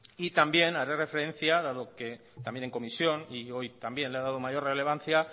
y también haré referencia dado que también en comisión y hoy también le ha dado mayor relevancia